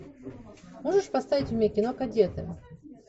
можешь поставить мне кино кадеты